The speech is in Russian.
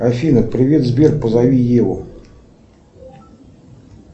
афина привет сбер позови еву